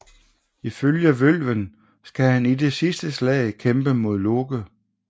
Ifølge Vølven skal han i det sidste slag kæmpe mod Loke